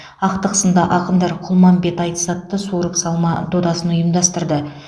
ақтық сында ақындар құлманбет айтыс атты суырып салма додасын ұйымдастырды